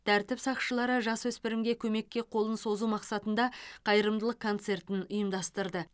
тәртіп сақшылары жасөспірімге көмекке қолын созу мақсатында қайырымдылық концертін ұйымдастырды